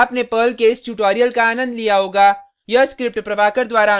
आशा करता हूँ कि आपने पर्ल के इस ट्यूटोरियल का आनंद लिया होगा